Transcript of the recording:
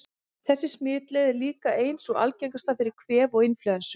Þessi smitleið er líka ein sú algengasta fyrir kvef og inflúensu.